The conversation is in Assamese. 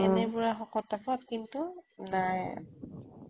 এনে পুৰা শকত আৱত কিন্তু নাই